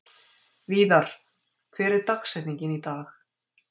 Víðar, hver er dagsetningin í dag?